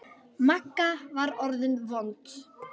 Magga var orðin vond.